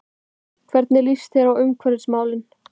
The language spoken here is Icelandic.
Hvernig líst þér á umhverfismálin?